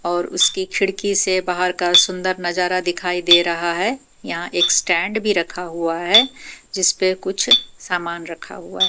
और उसकी खिड़की से बाहर का सुंदर नजारा दिखाई दे रहा है यहां एक स्टैंड भी रखा हुआ है जिस पे कुछ सामान रखा हुआ है।